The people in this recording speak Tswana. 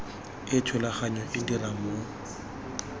e thulaganyo e dirang mo